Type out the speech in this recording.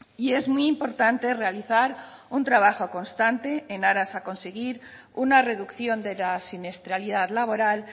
y es muy importante realizar un trabajo constante en aras a conseguir una reducción de la siniestralidad laboral